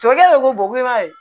Cɛ ko ko